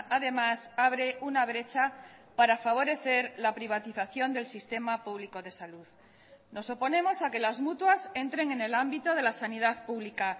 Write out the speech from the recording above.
además abre una brecha para favorecer la privatización del sistema público de salud nos oponemos a que las mutuas entren en el ámbito de la sanidad pública